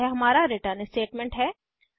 और यह हमारा रिटर्न स्टेटमेंट है